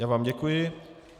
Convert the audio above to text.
Já vám děkuji.